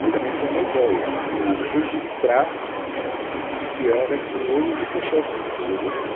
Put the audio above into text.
que também foi uma ideia de registrar o que era Pinheiros e o processo de evolução.